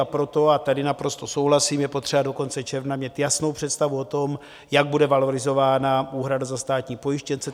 A proto, a tady naprosto souhlasím, je potřeba do konce června mít jasnou představu o tom, jak bude valorizována úhrada za státní pojištěnce.